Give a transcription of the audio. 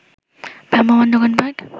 ভ্রাম্যমাণ দোকানপাট